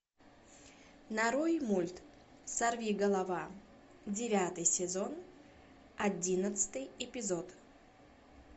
нарой мульт сорвиголова девятый сезон одиннадцатый эпизод